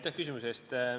Aitäh küsimuse eest!